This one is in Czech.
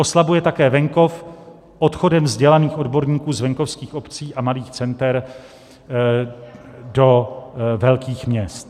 Oslabuje také venkov odchodem vzdělaných odborníků z venkovských obcí a malých center do velkých měst.